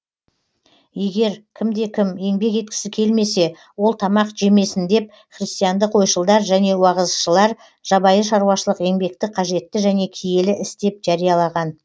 егер кімде кім еңбек еткісі келмесе ол тамақ жемесін деп христиандық ойшылдар және уағызшылар жабайы шаруашылық еңбекті қажетті және киелі іс деп жариялаған